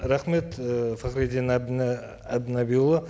рахмет і фахриддин әбдінәбиұлы